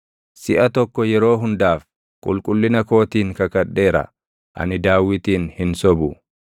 Siʼa tokko yeroo hundaaf, qulqullina kootiin kakadheera; ani Daawitin hin sobu.